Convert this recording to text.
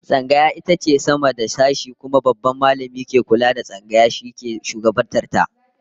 Tsangaya ita ke sama da sashe, kuma Babban Mallami mai kula da Tsangaya shi ke shugabantar ta